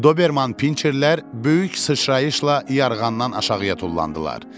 Doberman pinçerlər böyük sıçrayışla yarğandan aşağıya tullandılar.